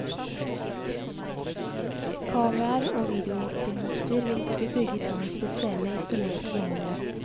Kameraer og videofilmutstyr vil bli bygget inn i spesielle isolerte beholdere.